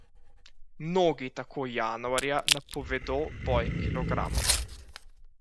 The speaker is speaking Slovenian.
Mnogi tako januarja napovedo boj kilogramom.